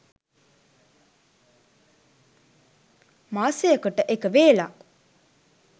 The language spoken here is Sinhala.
මාසයකට එක වේලක්